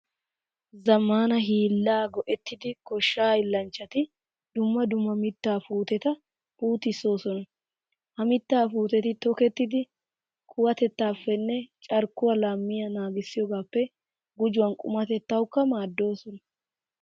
Zammaana hiillaa go"ettidi goshshaa hiillanchchati dumm dumma mittaa puuteta puutissoosona. Ha mittaa puuteti tokettidi kuwatettaappenne carkkuwa laamiya naagissiyogaappe gujuwan qumatettawukka maaddoosona.